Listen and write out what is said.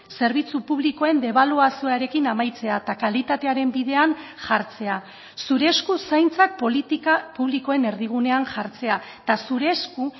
zerbitzu publikoen debaluazioarekin amaitzea eta kalitatearen bidean jartzea zure esku zaintzak politika publikoen erdigunean jartzea eta zure esku